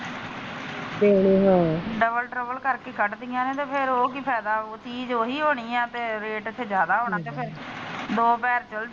double double ਕਰਕੇ ਕੱਢ ਦੀਆਂ ਨੇ ਤੇ ਫੇਰ ਉਹ ਕੀ ਫੈਦਾ ਚੀਜ ਉਹੀ ਹੋਣੀ ਤੇ ਰੇਟ ਇਥੇ ਜਾਦਾ ਹੋਣਾ ਤੇ ਫਿਰ ਦੋ ਪੈਰ,